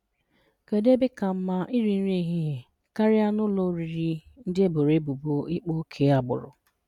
Kedụ ebe ka mma iri nri ehihie karịa ụlọ oriri ndị eboro ebubo ịkpa oke agbụrụ?